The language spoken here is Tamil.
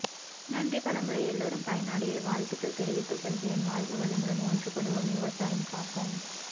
நன்றி பல முறை எல்லோரும் பயன் அடைய வாழ்த்துக்கள் தெரிவித்துக்கொள்கிறேன் வாழ்க வளமுடன் ஒன்றுபடுவோம் விவசாயம் காப்போம்